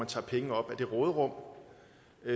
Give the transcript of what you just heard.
tager penge op af det råderum